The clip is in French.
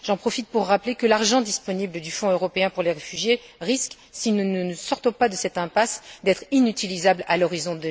J'en profite pour rappeler que l'argent disponible du Fonds européen pour les réfugiés risque, si nous ne nous sortons pas de cette impasse, d'être inutilisable à l'horizon